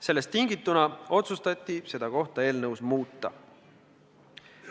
Sellest tingituna otsustati seda sätet eelnõus muuta.